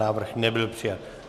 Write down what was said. Návrh nebyl přijat.